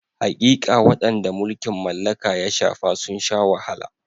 Haƙiƙa, waɗanda mulkin mallaka ya shafa sun sha wahala.